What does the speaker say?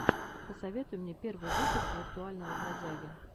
посоветуй мне первый выпуск виртуального бродяги